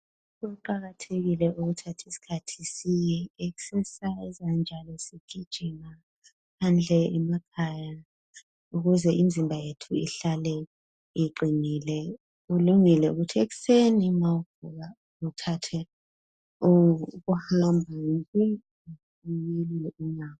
Kuqakathekile ukuthatha isikhathi siyelule imizimba njalo sigijime ukuze ihlale iqinile ulungele ukuthi ekuseni nxa uvuka uthathe uhambo welule inyawo.